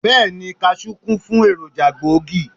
Bẹ́ẹ̀ni, Kaṣú kún fún èròjà gbòógì.